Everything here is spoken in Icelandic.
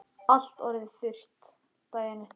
Allt orðið þurrt daginn eftir.